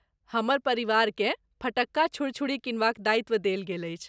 हमर परिवारकेँ फटक्का छुड़छुड़ी किनबाक दायित्त्व देल गेल अछि।